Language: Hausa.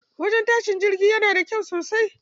Wajen tashin jirgi yana da kyau sosai.